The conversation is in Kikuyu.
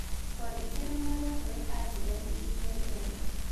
Twandĩkĩre marũa kũrĩ andirethi ĩrĩa njerũ